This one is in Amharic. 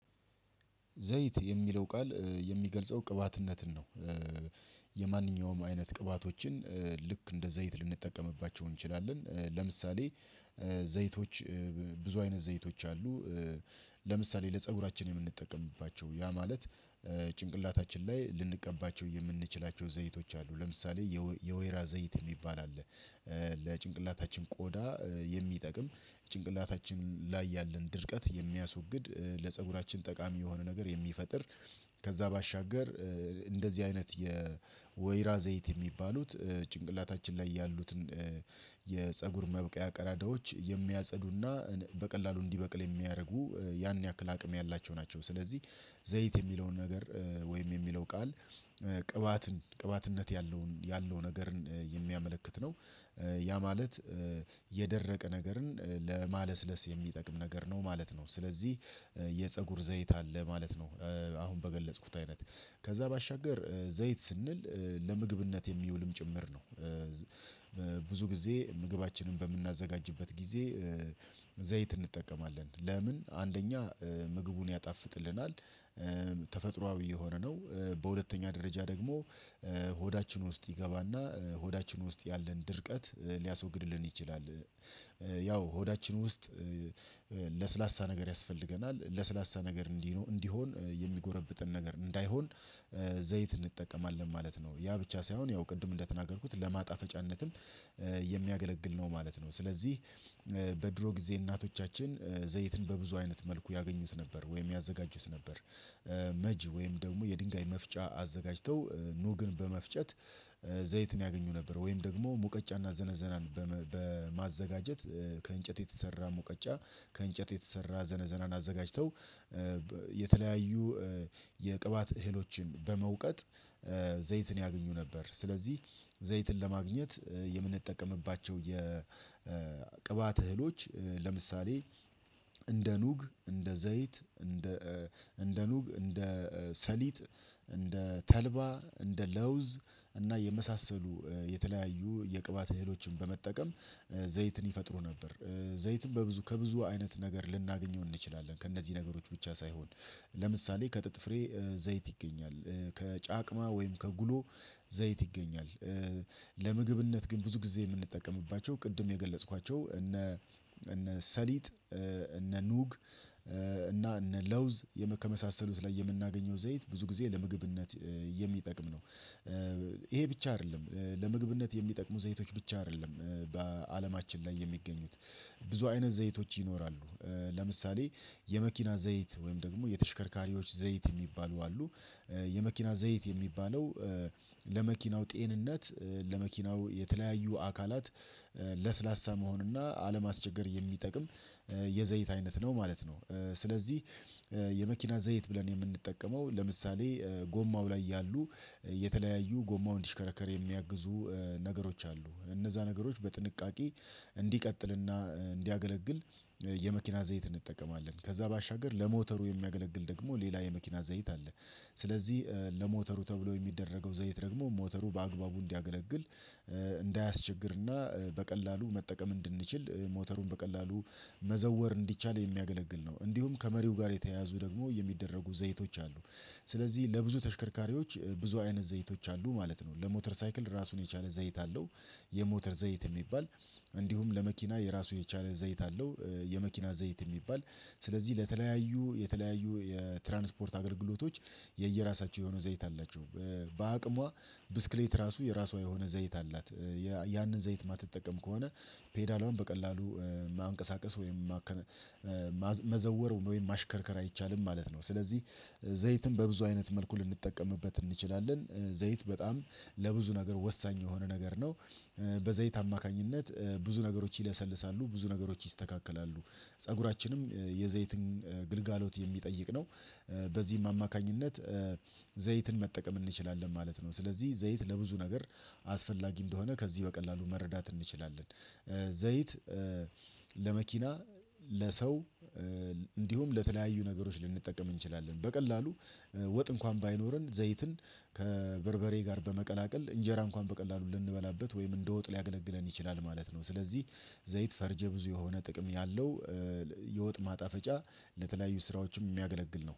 ዘይት የሚለው ቃል የሚገልጸው ቅባትነትን ነው። የማንኛውም አይነት ቅባቶችን ልክ እንደ ዘይት ልንጠቀምባቸው እንችላለን ለምሳሌ ዘይቶች ብዙ አይነት ዘይቶች አሉ ለምሳሌ ለፀጉራችን የምንጠቀምባቸው ያ ማለት ጭንቅላታችን ላይ ልንቀባቸው የምንችላቸው ዘይቶች አሉ፤ ለምሳሌ የወይራ ዘይት የሚባል አለ፣ ለጭንቅላታችን ቆዳ የሚጠቅም ጭንቅላታችን ላይ ያለን ድርቀት የሚያስወግድ፣ ለፀጉራችን ጠቃሚ የሆነ ነገር የሚፈጥር፣ ከዛ ባሻገር እንደዚህ አይነት የወይራ ዘይት የሚባሉት ጭንቅላታችን ላይ ያሉትን የፀጉር መብቂያ ቀዳዳዎች የሚያጸዱና በቀላሉ እንዲበቅል የሚያደርጉ ያን ያክል አቅም ያላቸው ናቸው ስለዚህ ዘይት የሚለውን ነገር ወይም የሚለው ቃል ቅባትን ቅባትነት ያለውን ያለውን ነገርን የሚያመለክት ነው ያ ማለት የደረቀ ነገርን ለማለስለስ የሚጠቅም ነገር ነው ማለት ነው፤ ስለዚህ የፀጉር ዘይት አለ ማለት ነው አሁን በገለጽኩት አይነት፤ ከዛ ባሻገር ዘይት ስንል ለምግብነት የሚውልም ጭምር ነው። ብዙ ጊዜ ምግባችንን በምናዘጋጅበት ጊዜ ዘይት እንጠቀማለን ለምን አንደኛ ምግቡን ያጣፍጥልናል፣ ተፈጥሮአዊ የሆነ ነው በሁለተኛ ደረጃ ደግሞ ሆዳችን ውስጥ ይገባና ሆዳችን ውስጥ ያለን ድርቀት ሊያስወግድልን ይችላል። ያው ሆዳችን ውስጥ ለስላሳ ነገር ያስፈልገናል ለስላሳ ነገር እንዲህ እንዲሆን የሚጎረብጥን ነገር እንዳይሆን ዘይት እንጠቀማለን ማለት ነው። ያ ብቻ ሳይሆን ያው ቅድም እንደተናገርኩት ለማጣፈጫነትም የሚያገለግል ነው ማለት ነው፤ ስለዚህ በድሮ ጊዜ እናቶቻችን ዘይትን በብዙ አይነት መልኩ ያገኙት ነበር ወይም ያዘጋጁት ነበር መጅ ወይም ደግሞ የድንጋይ መፍጫ አዘጋጅተው ኑግን በመፍጨት ዘይትን ያገኙ ነበር ወይም ደግሞ ሙቀጫና ዘነዘናን በማዘጋጀት ከእንጨት የተሰራ ሙቀጫ፣ ከእንጨት የተሰራ ዘነዘናን አዘጋጅተው የተለያዩ የቅባት እህሎችን በመውቀጥ ዘይትን ያገኙ ነበር። ስለዚህ ዘይትን ለማግኘት የምንጠቀምባቸው የ የቅባት እህሎች ለምሳሌ እንደ ኑግ፣ እንደ ዘይት፣ እንደ እንደ ኑግ፣ እንደ ሰሊጥ፣ እንደ ተልባ፣ እንደ ለውዝ እና የመሳሰሉ የተለያዩ የቅባት እህሎችን በመጠቀም ዘይትን ይፈጥሩ ነበር። ዘይትን በብዙ ከብዙ አይነት ነገር ልናገኘው እንችላለን ከእነዚህ ነገሮች ብቻ ሳይሆን ለምሳሌ ከጥጥ ፍሬ ዘይት ይገኛል፣ ከጫቅማ ወይም ከጉሎ ዘይት ይገኛል፣ ለምግብነት ግን ብዙ ጊዜ የምንጠቀምባቸው ቅድም የገለጽኳቸው እነ ሰሊጥ፣ እነ ኑግ እና እነ ለውዝ ከመሳሰሉት ላይ የምናገኘው ዘይት ብዙ ጊዜ ለምግብነት የሚጠቅም ነው። ይሄ ብቻ አይደለም ለምግብነት የሚጠቅሙ ዘይቶች ብቻ አይደሉም በአለማችን ላይ የሚገኙት ብዙ አይነት ዘይቶች ይኖራሉ ለምሳሌ የመኪና ዘይት ወይም ደግሞ የተሽከርካሪዎች ዘይት የሚባሉ አሉ፤ የመኪና ዘይት የሚባለው ለመኪናው ጤንነት፣ ለመኪናው የተለያዩ አካላት መሆን እና አለማስቸገር የሚጠቅም የዘይት አይነት ነው ማለት ነው፤ ስለዚህ የመኪና ዘይት ብለን የምንጠቀመው ለምሳሌ ጎማው ላይ ያሉ የተለያዩ ጎማውን እንዲሽከረከር የሚያግዙ ነገሮች አሉ እነዛ ነገሮች በጥንቃቄ እንዲቀጥልና እንዲያገለግል የመኪና ዘይት እንጠቀማለን። ከዛ ባሻገር ለሞተሩ የሚያገለግል ደግሞ ሌላ የመኪና ዘይት አለ ስለዚህ ለሞተሩ ተብሎ የሚደረገው ዘይት ደግሞ ሞተሩ በአግባቡ እንዲያገለግል እንዳያስቸግርና በቀላሉ መጠቀም እንድንችል ሞተሩን በቀላሉ መዘወር እንዲቻል የሚያገለግል ነው። እንዲሁም ከመሪው ጋር የተያዙ ደግሞ የሚደረጉ ዘይቶች አሉ፣ ስለዚህ ለብዙ ተሽከርካሪዎች ብዙ አይነት ዘይቶች አሉ ማለት ነው። ለሞተር ሳይክል ራሱን የቻለ ዘይት አለው የሞተር ዘይት የሚባል እንዲሁም ለመኪና የራሱ የቻለ ዘይት አለው የመኪና ዘይት የሚባል ስለዚህ ለተለያዩ የተለያዩ የትራንስፖርት አገልግሎቶች የየራሳቸው የሆነው ዘይት አላቸው። በአቅሟ ብስክሌት ራሱ የራሷ የሆነ ዘይት አላት ያንን ዘይት የማትጠቀም ከሆነ ፔዳል አሁን በቀላሉ ማንቀሳቀስ ወይም መዘወር ወይም ማሽከርከር አይቻልም ማለት ነው፤ ስለዚህ ዘይትም በብዙ አይነት መልኩ ልንጠቀምበት እንችላለን ዘይት በጣም ለብዙ ነገር ወሳኝ የሆነ ነገር ነው። በዘይት አማካኝነት ብዙ ነገሮች ይለሰልሳሉ፣ ብዙ ነገሮች ይስተካከላሉ፣ ፀጉራችንም የዘይትን ግልጋሎት የሚጠይቅ ነው በዚህም አማካኝነት ዘይትን መጠቀም እንችላለን ማለት ነው፤ ስለዚህ ዘይት ለብዙ ነገር አስፈላጊ እንደሆነ ከዚህ በቀላሉ መረዳት እንችላለን። ዘይት ለመኪና፣ ለሰው፣ እንዲሁም ለተለያዩ ነገሮች ልንጠቀም እንችላለን። በቀላሉ ወጥ እንኳን ባይኖረን ዘይትን ከበርበሬ ጋር በመቀላቀል እንጀራ እንኳን በቀላሉ ልንበላበት ወይም እንደ ወጥ ሊያገለግለን ይችላል ማለት ነው ስለዚህ ዘይት ፈርጀ ብዙ የሆነ ጥቅም ያለው የወጥ ማጣፈጫ ለተለያዩ ስራዎችም የሚያገለግል ነው።